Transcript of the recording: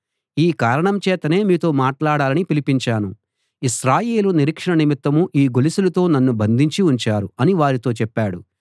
ఈ కారణం చేతనే మీతో మాట్లాడాలని పిలిపించాను ఇశ్రాయేలు నిరీక్షణ నిమిత్తం ఈ గొలుసులతో నన్ను బంధించి ఉంచారు అని వారితో చెప్పాడు